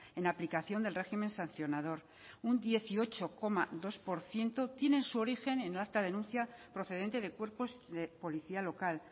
en aplicación del régimen sancionador un dieciocho coma dos por ciento tienen su origen en acta denuncia procedente de cuerpos de policía local